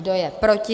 Kdo je proti?